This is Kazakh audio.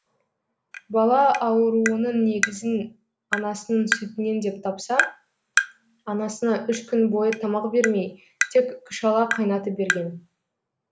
бала ауруының негізін анасының сүтінен деп тапса анасына үш күн бойы тамақ бермей тек күшала қайнатып берген